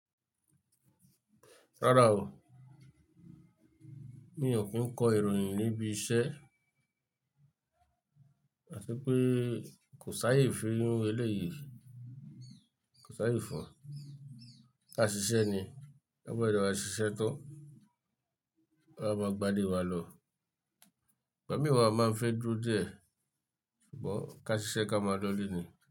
Rárá o, mi ò kí ń kọ ìròyìn níbi iṣẹ́. Àti pé kò sáyé fi rínú ilé yìí, kò sáyé fún ọ. Ká ṣiṣẹ́ ni, ta ba de wa ṣiṣẹ́ tán, ka wa máa gbanile wa lọ. Ìgbàmí wà máa ń fẹ́ dúró díẹ̀, ṣùgbọ́n ká ṣiṣẹ́ ká máa lọ̀lè ni.